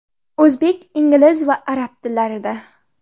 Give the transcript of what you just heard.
O‘zbek, ingliz va arab tillarida.